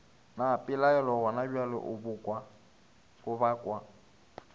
na pelaelo gonabjale o bakwa